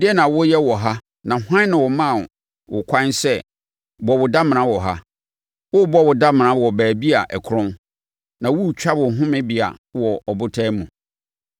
Ɛdeɛn na woreyɛ wɔ ha na hwan na ɔmaa wo kwan sɛ bɔ wo damena wɔ ha, worebɔ wo damena wɔ baabi a ɛkorɔn na woretwa wo homebea wɔ ɔbotan mu?